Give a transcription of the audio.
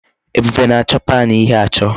Ebube na-acho pan ighe acho